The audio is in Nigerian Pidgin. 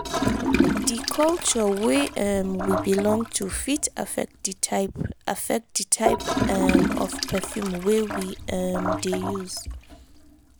di culture wey um we belong to fit affect di type affect di type um of perfume wey we um dey use